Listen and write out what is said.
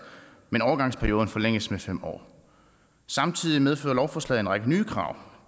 men overgangsperioden forlænges med fem år samtidig medfører lovforslaget en række nye krav